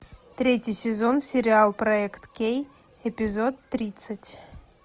третий сезон сериал проект кей эпизод тридцать